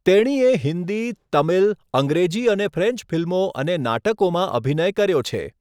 તેણીએ હિન્દી, તમિલ, અંગ્રેજી અને ફ્રેન્ચ ફિલ્મો અને નાટકોમાં અભિનય કર્યો છે.